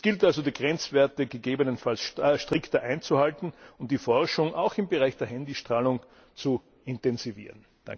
Es gilt also, die Grenzwerte gegebenenfalls strikter einzuhalten und die Forschung, auch im Bereich der Handy Strahlung, zu intensivieren.